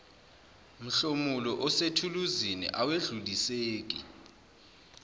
mhlomulo osethuluzini awedluliseki